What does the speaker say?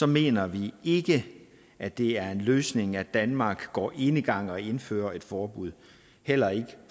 mener vi ikke at det er en løsning at danmark går enegang og indfører et forbud heller ikke